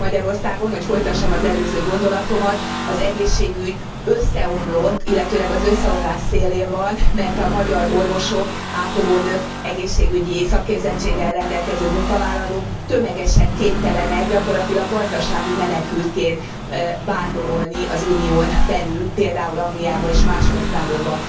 Magyarországon, hogy folytassam az előző gondolatomat, az egészségügy összeomlott, illetőleg az összeomlás szélén van, mert a magyar orvosok, ápolónők, egészségügyi szakképzettséggel rendelkező munkavállalók tömegesen kénytelenek, gyakorlatilag gazdasági menekültként vándorolni az Unión belül, például Angliában és más országokban.